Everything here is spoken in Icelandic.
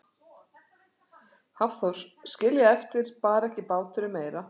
Hafþór: Skilja eftir, bar ekki báturinn meira?